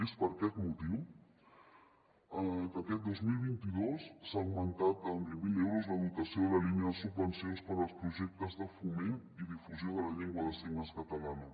és per aquest motiu que aquest dos mil vint dos s’ha augmentat en vint mil euros la dotació de la línia de subvencions per als projectes de foment i difusió de la llengua de signes catalana